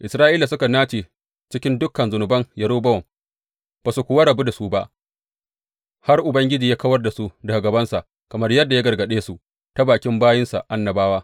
Isra’ila suka nace cikin dukan zunuban Yerobowam, ba su kuwa rabu da su ba har Ubangiji ya kawar da su daga gabansa, kamar yadda ya gargaɗe su ta bakin bayinsa annabawa.